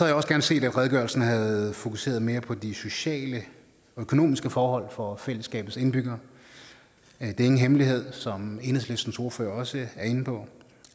jeg også gerne set at redegørelsen havde fokuseret mere på de sociale og økonomiske forhold for fællesskabets indbyggere det er ingen hemmelighed som enhedslistens ordfører også er inde på